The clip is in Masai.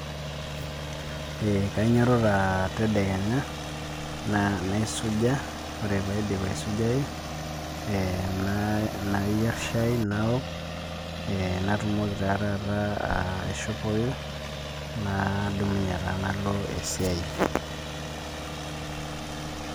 Kanyiototo tadekenya, naisuja, ore paidip aisujayu, nayier shai naok, natumoki naa taata aishopoyu, nadumunye taa nalo esiai.